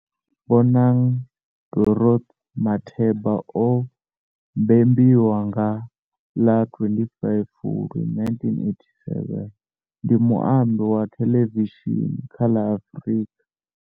Bonang Dorothy Matheba o mbembiwa nga ḽa 25 Fulwi 1987, ndi muambi wa thelevishini kha la Afrika.